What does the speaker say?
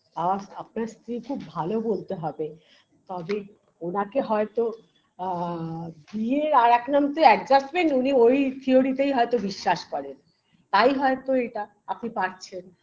আজ আপনার স্ত্রী খুব ভালো বলতে হবে তবে ওনাকে হয়তো আআ বিয়ের আরেক নাম যে adjustment উনি ওই theory -তে হয়তো বিশ্বাস করেন তাই হয়তো এটা আপনি পারছেন